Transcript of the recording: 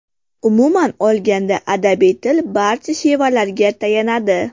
Umuman olganda, adabiy til barcha shevalarga tayanadi.